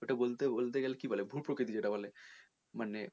ওটা বলতে বলতে গেলে কী বলে ভূপ্রকৃতি যেটা তোর মানে